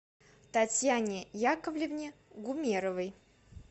татьяне яковлевне гумеровой